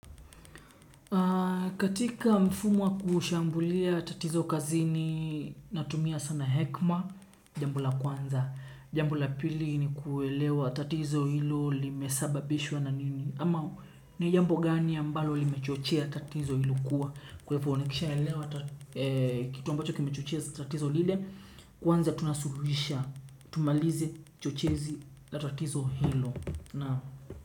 Katika mfumo wa kushambulia tatizo kazini natumia sana hekima jambo la kwanza. Jambo la pili ni kuelewa tatizo hilo limesababishwa na nini ama ni jambo gani ambalo limechochea tatizo hilo kuwa kwa hivyo nikishaelewa kitu ambacho kimechochea tatizo lile kwanza tunasuluhisha tumalize chochezi la tatizo hilo naam.